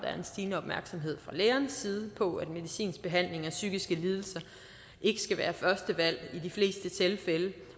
er en stigende opmærksomhed fra lægernes side på at medicinsk behandling af psykiske lidelser ikke skal være førstevalg i de fleste tilfælde